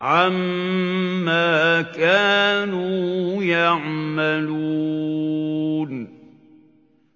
عَمَّا كَانُوا يَعْمَلُونَ